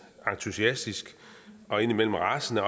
entusiastisk og indimellem rasende